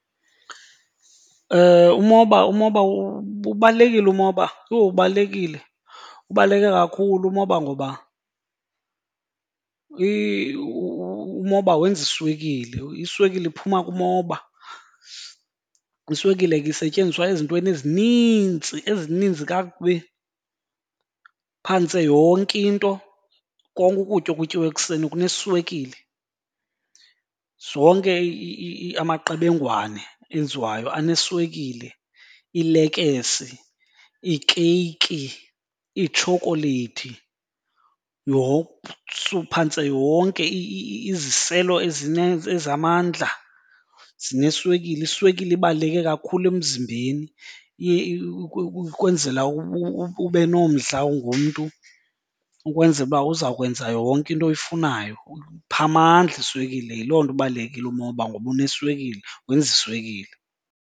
Umoba umoba, ubalulekile umoba. Yho, ubalulekile! Ubaluleke kakhulu umoba ngoba umoba wenza iswekile, iswekile iphuma kumoba. Iswekile ke isetyenziswa ezintweni ezinintsi, ezininzi kakubi. Phantse yonke into, konke ukutya okutyiwa ekuseni kuneswekile. Zonke amaqebengwana enziwayo aneswekile, iilekese, iikeyiki, iitshokoleyithi, phantse yonke iziselo ezamandla zineswekile. Iswekile ibaluleke kakhulu emzimbeni iye ukwenzela ube nomdla ungumntu ukwenzela uba uzakwenza yonke into oyifunayo, ikupha amandla iswekile. Yiloo nto ibalulekile umoba ngoba uneswekile, wenza iswekile.